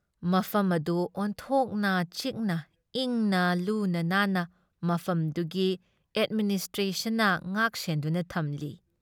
ꯃꯐꯝ ꯑꯗꯨ ꯑꯣꯟꯊꯣꯛꯅ ꯆꯤꯛꯅ ꯏꯪꯅ ꯂꯨꯅ ꯅꯥꯟꯅ ꯃꯐꯝꯗꯨꯒꯤ ꯑꯦꯗꯃꯤꯅꯤꯁꯇ꯭ꯔꯦꯁꯟꯅ ꯉꯥꯛ ꯁꯦꯟꯗꯨꯅ ꯊꯝꯂꯤ ꯫